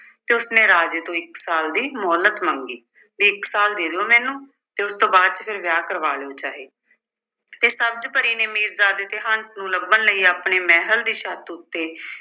ਤੇ ਉਸਨੇ ਰਾਜੇ ਤੋਂ ਇੱਕ ਸਾਲ ਦੀ ਮੁਹੱਲਤ ਮੰਗੀ ਵੀ ਇੱਕ ਸਾਲ ਦੇ ਦਿਉ ਮੈਨੂੰ ਤੇ ਉਸ ਤੋਂ ਬਾਅਦ ਚ ਫਿਰ ਵਿਆਹ ਕਰਵਾ ਲਉ ਚਾਹੇ ਤੇ ਸਬਜ਼ ਪਰੀ ਤੇ ਮੀਰਜ਼ਾਦੇ ਤੇ ਹੰਸ ਨੂੰ ਲੱਭਣ ਲਈ ਆਪਣੀ ਮਹਿਲ ਦੀ ਛੱਤ ਉੱਤੇ